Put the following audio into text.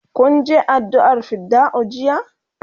kun Je addu'a r fidda'u jiya?